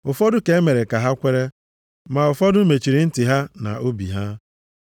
Ụfọdụ ka e mere ka ha kweere, ma ụfọdụ mechiri ntị ha na obi ha.